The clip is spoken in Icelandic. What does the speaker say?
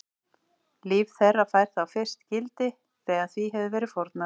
Líf þeirra fær þá fyrst gildi þegar því hefur verið fórnað.